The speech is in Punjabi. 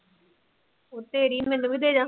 ਓਹ ਤੇਰੀ ਮੈਨੂੰ ਵੀ ਦੇ ਜਾ